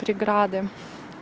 преграды